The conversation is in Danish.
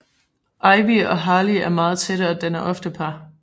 Ivy og Harley er meget tætte og danner ofte par